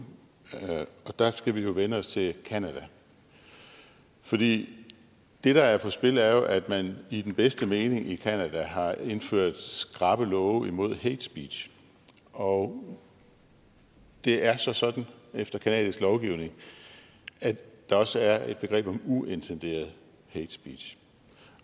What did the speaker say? og der skal vi vende os til canada for det der er på spil er jo at man i den bedste mening i canada har indført skrappe love imod hatespeech og det er så sådan efter canadisk lovgivning at der også er et begreb om uintenderet hatespeech